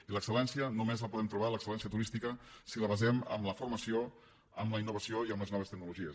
i l’excel·lència només la podem trobar l’excel·lència turística si la basem en la formació en la innovació i en les noves tecnologies